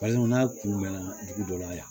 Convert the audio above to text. n'a kun mɛnna dugu dɔ la yan